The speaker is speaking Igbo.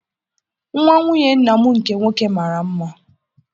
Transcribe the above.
Nwa nwunye nna m nke nwoke mara mma